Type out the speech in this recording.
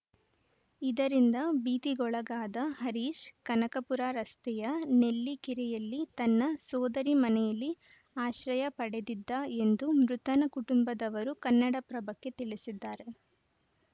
ಇದರಿಂದ ಭೀತಿಗೊಳಗಾದ ಹರೀಶ್‌ ಕನಕಪುರ ರಸ್ತೆಯ ನೆಲ್ಲಿಕೆರೆಯಲ್ಲಿ ತನ್ನ ಸೋದರಿ ಮನೆಯಲ್ಲಿ ಆಶ್ರಯ ಪಡೆದಿದ್ದ ಎಂದು ಮೃತನ ಕುಟುಂಬದವರು ಕನ್ನಡಪ್ರಭಕ್ಕೆ ತಿಳಿಸಿದ್ದಾರೆ